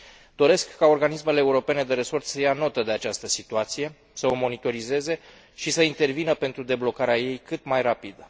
Doresc ca organismele europene de resort să ia notă de această situație, să o monitorizeze și să intervină pentru deblocarea ei cât mai rapid.